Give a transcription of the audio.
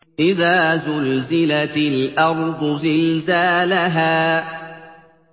إِذَا زُلْزِلَتِ الْأَرْضُ زِلْزَالَهَا